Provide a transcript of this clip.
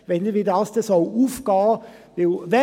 Ich weiss nicht wie dies aufgehen soll.